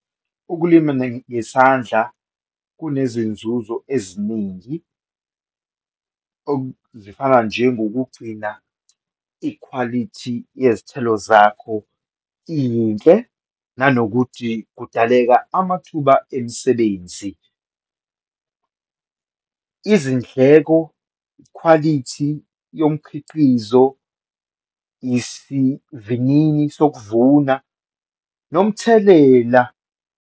Ukulima ngesandla kunezinzuzo eziningi, zifana njengokugcina ikhwalithi yezithelo zakho iyinhle, nanokuthi kudaleka amathuba emisebenzi. Izindleko, ikhwalithi yomqhiqizo, isivinini sokuvuna nomthelela.